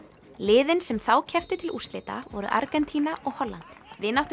liðin sem þá kepptu til úrslita voru Argentína og Holland